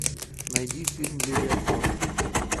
найди фильм левиафан